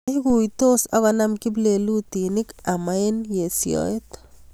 Iguitos ak konam kiplelutinik ama esyoet.